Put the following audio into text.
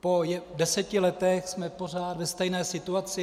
Po deseti letech jsme pořád ve stejné situaci.